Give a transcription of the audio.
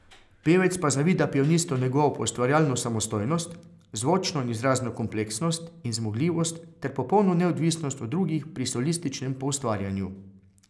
Pevec pa zavida pianistu njegovo poustvarjalno samostojnost, zvočno in izrazno kompleksnost in zmogljivost ter popolno neodvisnost od drugih pri solističnem poustvarjanju.